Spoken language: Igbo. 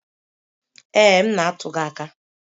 Ee, m na-atụ gị aka.